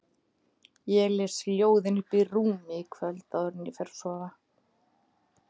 Ég les ljóðin uppi í rúmi í kvöld áður en ég fer að sofa